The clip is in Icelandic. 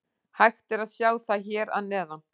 Hægt er að sjá það hér að neðan.